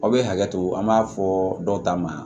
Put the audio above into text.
Aw bɛ hakɛ to an b'a fɔ dɔw ta ma